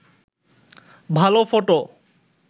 ভালো ফটো